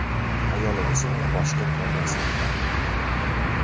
Ayollar esa uni boshqa ko‘rmas edilar.